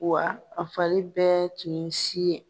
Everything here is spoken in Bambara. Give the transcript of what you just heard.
Wa a fari bɛɛ tun ye si ye.